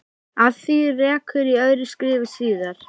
Að því rekur í öðru skrifi síðar.